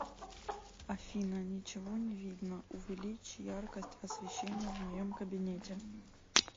афина ничего не видно увеличь яркость освещения в моем кабинете